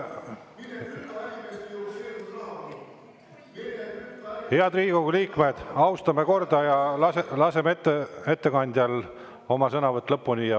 Head Riigikogu liikmed, austame korda ja laseme ettekandjal oma sõnavõtu lõpetada.